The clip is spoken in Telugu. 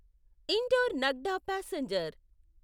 indoor Nagda passenger